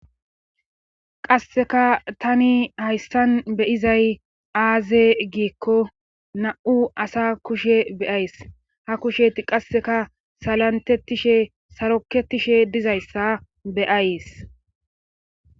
qasseka tani hayssan beyizay aaze giikko na7u asa kushe beyays ha kushe qasseka salantetishe saroketishe dizayssa beyays